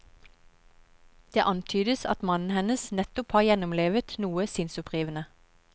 Det antydes at mannen hennes nettopp har gjennomlevet noe sinnsopprivende.